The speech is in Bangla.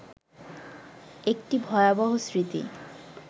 একটি ভয়াবহ স্মৃতি